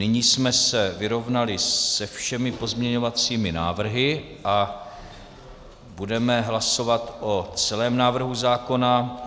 Nyní jsme se vyrovnali se všemi pozměňovacími návrhy a budeme hlasovat o celém návrhu zákona.